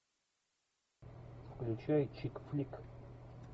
включай чик флик